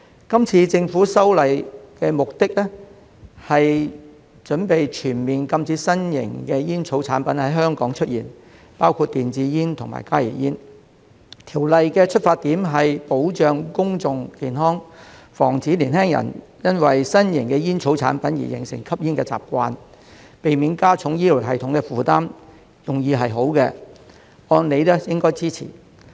今次政府修例的目的，是擬全面禁止新型煙草產品在香港出現，包括電子煙和加熱煙，條例的出發點是保障公眾健康，防止年輕人因為新型煙草產品而形成吸煙的習慣，避免加重醫療系統的負擔，用意是好的，按理應該支持。